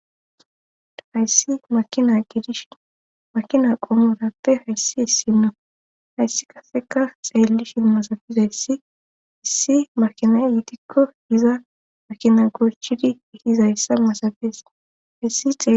hayssi makina gidish makina qoomurappe hayssi hissino hayssi kaseka xeellishi masabiza yssi issi makina yitikko iza makina gorchidi ihizayssa masabes hayssixe